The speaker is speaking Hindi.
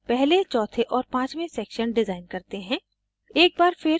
अब हम पहले चौथे और पांचवें sections डिज़ाइन करते हैं